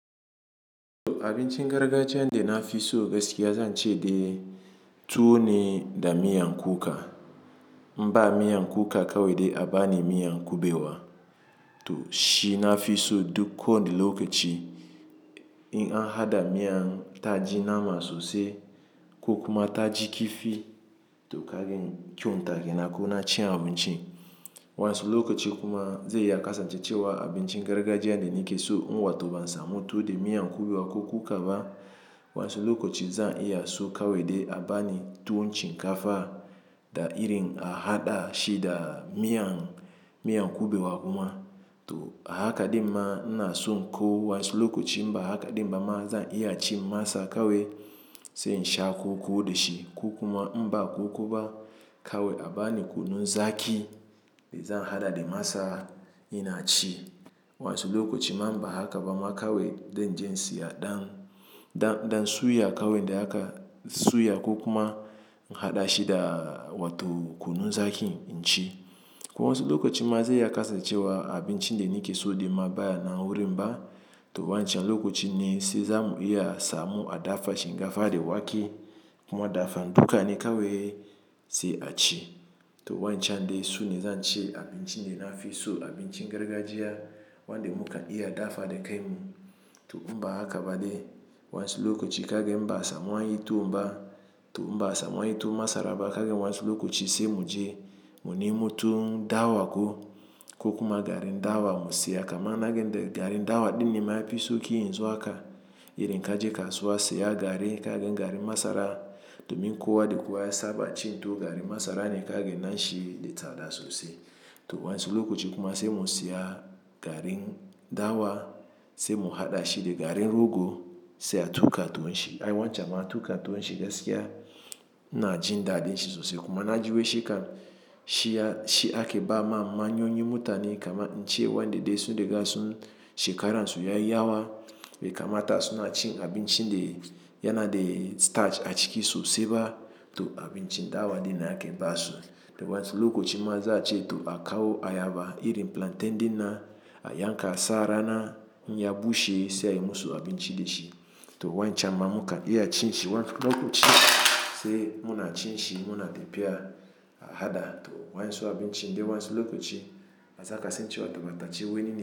To abincin gargajiya inde nafi so gaskiya zance de tuwo ne da miyan kuka. In ba miyan kuka kawai de abani miyan kubewa. To shi nafi so duk ko wani lokaci in a hada miyan taaji na maso se kokuma taaji kifi to kagen kyunta gena ko na chi abin chi. Waensu lokaci kuma ze iya kasan je cewa abincin gargajiya de ni ke so in wato ban samu tuwo da miyan kubewa ko kuka ba. Waensu lokoci zan iya so kawe de abani tuun chin kafa da irin a hada shi da miyan, miyan kubewa kuma. To a haka dimma ina son ko waensu lokaci inba haka dimma ma zan iya ci masa kawe se in sha koko da shi. Kokuma inba koko ba kawai abani kunu zaki be zan hada dimasa ina ci. Wansu lokoci ma ba haka ba ma kawai denje isiya dan, dan, dan suya kawai de haka suya kokuma in hada shi da wato kunu zakin in ci. Ko wasu lokoci ma ze iya kasan cewa abinchin dani ke so de ma baya na wuri mba. To wancan lokoci ne se zamu iya samu a dafa shinkafa de wake kuma dafan duka ne kawai se a ci. To wancan de so ne zance abin chi de nafi so, abin chin gargajiya wan de muka iya dafa de kai mu. To in ba haka bade wansu lokoci kagen in ba a samu anyi tuwomba. To in ba a samu anyi tuwon masara ba kagen wansu lokoci se mu je munemo tuwon dawa ko kokuma garin dawa mu siya. Kama na gen de garin dawa din inma yafi sauki yanzu haka.i souk yin zuwa ka irin ka je kasuwa se ya garin kagen garin masara domin kowa de kowa ya saba ci tuwon garin masara ne kagen na shi de tsada sosai. To wansu lokoci kuma se mu siya garin dawa se mu hada shi de garin rogo se a tuka tuwon shi. Ai wancan ma tuka tuwon shi gaskiya ina jin da din shi sosai kuma na ji wai she kan shi ya, shi ake ba ma manyoyun mutane kamar in ce wanda de sun dega sun she karansu ya yi yawa. Be kama ta sun cin abin chin de yana de starch a ciki so se ba to abin chi dawa din da ake ba su. To wansu lokoci ma za a ce to a kawo ayaba irin plantain din na a yanka a sa rana in ya bushe se ayi musu abin chi de shi. To wancan ma muka iya cin shi wansu lokoci se muna cin shi muna tafiya a hada to wa'insu abin chi de wansu lokoci a za kasan cewa bata ci wani ne.